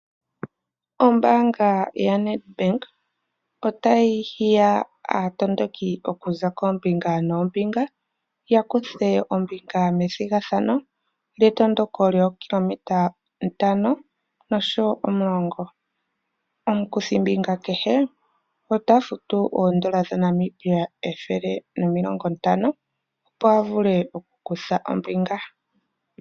Ombaanga ya Nedbank ota yi hiya aatondoki okuza koombinga noombinga, yakuthe ombinga methigathano, lye tondoko lyookilometa ntano noshowo omulongo. Omukuthimbinga kehe, ota futu oondola dha Namibia ethele nomilongo ntano, opo a vule oku kutha ombinga.